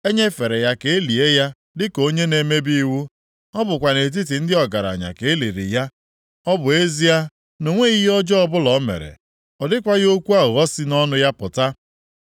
E nyefere ya ka e lie ya dịka onye na-emebi iwu, ọ bụkwa nʼetiti ndị ọgaranya ka e liri ya, ọ bụ ezie na o nweghị ihe ọjọọ ọbụla o mere, ọ dịkwaghị okwu aghụghọ si nʼọnụ ya pụta.